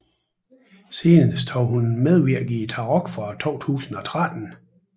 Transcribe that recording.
Senest har hun medvirket i Tarok fra 2013